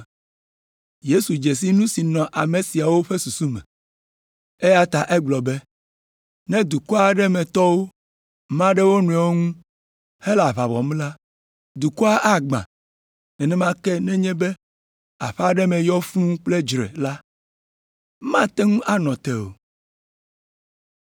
Yesu dze si nu si nɔ ame siawo katã ƒe susu me, eya ta egblɔ be, “Ne dukɔ aɖe me tɔwo ma ɖe wo nɔewo ŋu hele aʋa wɔm la, dukɔa agbã, nenema ke nenye be aƒe aɖe me yɔ fũu kple dzre la, mate ŋu anɔ te o.”